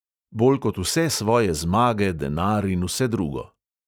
Bolj kot vse svoje zmage, denar in vse drugo.